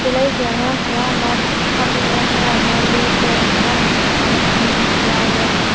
ꯑꯉꯥꯡ ꯈꯔ ꯑꯃ ꯐꯝꯃꯦ ꯈꯔ ꯑꯃ ꯂꯦꯞꯄꯦ ꯑꯉꯥꯡ ꯃꯆꯥ ꯅꯨꯄꯥ ꯃꯆꯥ ꯑꯅꯤꯈꯛꯁꯨ ꯌꯥꯎꯔꯦ꯫